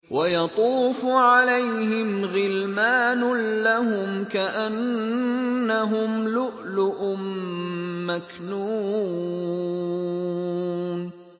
۞ وَيَطُوفُ عَلَيْهِمْ غِلْمَانٌ لَّهُمْ كَأَنَّهُمْ لُؤْلُؤٌ مَّكْنُونٌ